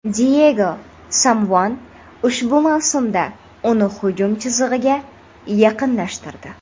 Diyego Simeone ushbu mavsumda uni hujum chizig‘iga yaqinlashtirdi.